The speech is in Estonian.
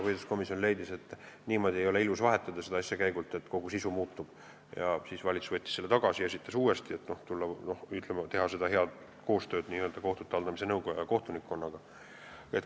Põhiseaduskomisjon leidis, et ei ole ilus niimoodi seda asja käigu pealt vahetada, et kogu sisu muutub, ja siis valitsus võttis selle eelnõu tagasi ja esitas uuesti, et teha koostööd kohtute haldamise nõukoja ja kohtunikkonnaga.